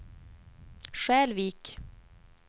Skälvik